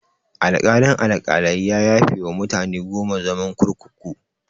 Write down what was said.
Alkalin-Alkalai ya yafewa mutane goma zaman kurkuku.